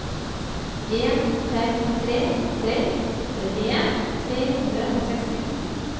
en fem tre tre trettien tre hundre og sekstito